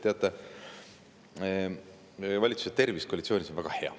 Teate, valitsuse tervis koalitsioonis on väga hea.